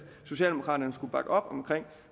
socialdemokraterne skulle bakke op om